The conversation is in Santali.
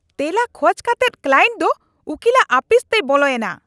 ᱛᱮᱞᱟ ᱠᱷᱚᱡ ᱠᱟᱛᱮᱫ ᱠᱞᱟᱭᱮᱱᱴ ᱫᱚ ᱩᱠᱤᱞᱟᱜ ᱟᱹᱯᱤᱥᱛᱮᱭ ᱵᱚᱞᱚᱭ ᱮᱱᱟ !